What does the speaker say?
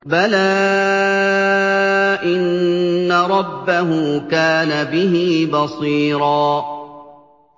بَلَىٰ إِنَّ رَبَّهُ كَانَ بِهِ بَصِيرًا